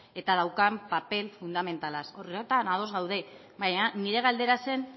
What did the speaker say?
eta daukan paper fundamentalaz horretan ados gaude baina nire galdera zen